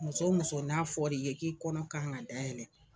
Muso muso n'a fɔliye k'i kɔnɔ k'an ka dayɛlɛ.